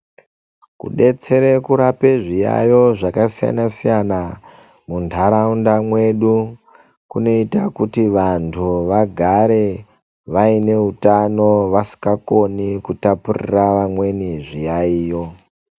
Kudetsera kurape zviyaiyo zvakasiyana siyana muntaraunda mwedu kunoita kuti vantu vagare vaine utano vasingakoni kutapurira amweni zviyaiyo.